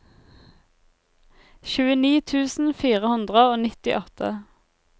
tjueni tusen fire hundre og nittiåtte